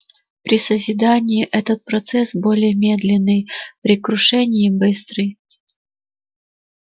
при созидании это процесс более медленный при крушении быстрый